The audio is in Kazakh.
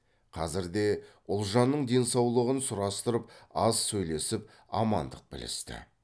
қазірде ұлжанның денсаулығын сұрастырып аз сөйлесіп амандық білісті